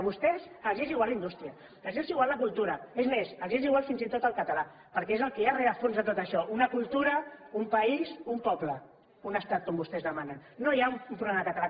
a vostès els és igual la indústria els és igual la cultura és més els és igual fins i tot el català perquè és el que hi ha de rerefons de tot això una cultura un país un poble un estat com vostès demanen no hi ha un problema del català